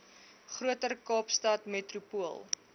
groter kaapstad metropool